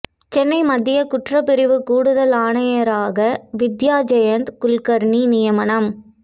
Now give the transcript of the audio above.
சென்னை மத்திய குற்றப்பிரிவு கூடுதல் ஆணையராக வித்யா ஜெயந்த் குல்கர்னி நியமனம்